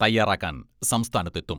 തയ്യാറാക്കാൻ സംസ്ഥാനത്തെത്തും.